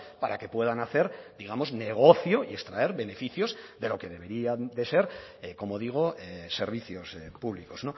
para que puedan hacer digamos negocio y extraer beneficios de lo que deberían de ser como digo servicios públicos